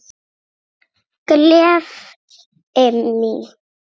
Hún er gleði mín.